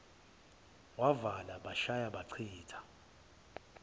wavala bashaya bachitha